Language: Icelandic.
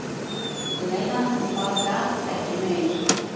Ég meina. ég bara gat ekki meir.